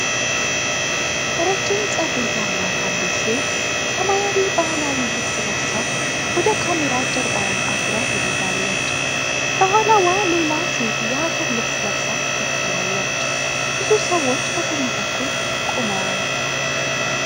ረጅም ፀጉር ያላት አንዲት ሴት ሰማያዊ ባህላዊ ልብስ ለብሳ ወደ ካሜራ ጀርባዋን አዙራ ትሄዳለች። ከኋላዋ ሌላ ሴት የሀገር ልብስ ለብሳ ትከተላለች። ብዙ ሰዎች በጎን በኩል ቆመዋል።